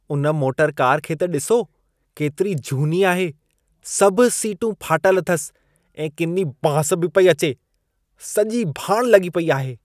उन motor car खे त ॾिसो, केतिरी झूनी आहे। सभ सीटूं फाटल अथसि ऐं किनी बांस बि पई अचे। सॼी भाणु लॻी पेई आहे।